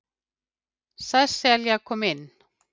Sesselja kom inn.